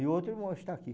e o outro irmão está aqui.